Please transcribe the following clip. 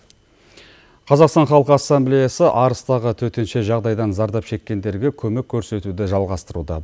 қазақстан халық ассамблеясы арыстағы төтенше жағдайдан зардап шеккендерге көмек көрсетуді жалғастыруда